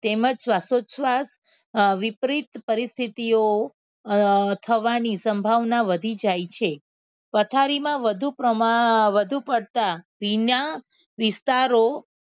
તેમજ શ્વાસોશ્વાસ વિપરીત પરિસ્થિતિઓ થવાની સંભાવના વધી જાય છે પથારીમાં વધુ પડતા ભીના વિસ્તારો